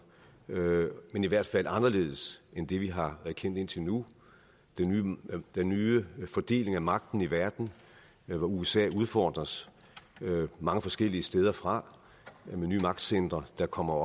men i hvert fald anderledes end det vi har kendt indtil nu den den nye fordeling af magten i verden hvor usa udfordres mange forskellige steder fra af nye magtcentre der kommer